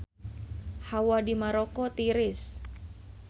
Hawa di Maroko tiris